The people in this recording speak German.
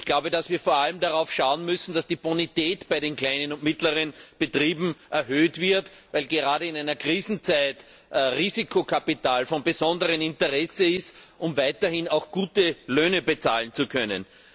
Wir müssen vor allem darauf schauen, dass die Bonität bei den kleinen und mittleren Betrieben erhöht wird, weil gerade in Krisenzeiten Risikokapital von besonderem Interesse ist, um weiterhin gute Löhne bezahlen zu können.